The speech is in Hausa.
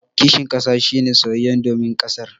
Kishin kasa shi ne soyayya domin kasar.